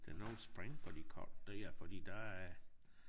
Det nogle spring på de kort der for der er